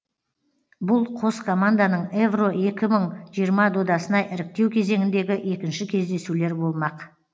бұл қос команданың евро екі мың жиырма додасына іріктеу кезеңіндегі екінші кездесулер болмақ